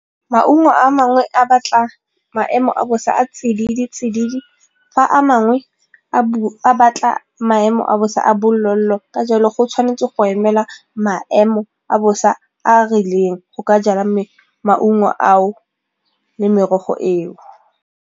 Maungo a mangwe a batla maemo a bosa a a tsididi-tsididi fa a mangwe a a batla maemo a bosa a bolelo-lelo ka jalo go tshwanetse go emela maemo a bosa a a rileng go ka jala maungo ao le merogo eo.